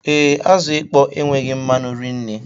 Ee, azụ ịkpọ enweghị mmanu rinne